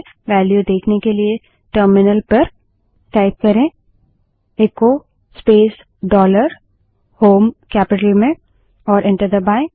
value देखने के लिए टर्मिनल पर echo space dollar h o m E terminal पर echo space dollar shell capital में टाइप करें और एंटर दबायें